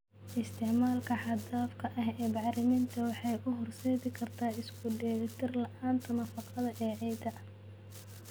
Isticmaalka xad dhaafka ah ee bacriminta waxay u horseedi kartaa isku dheelitir la'aanta nafaqada ee ciidda.